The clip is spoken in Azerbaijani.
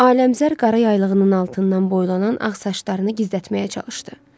Ailəmzər qara yaylığının altından boylanan ağ saçlarını gizlətməyə çalışdı.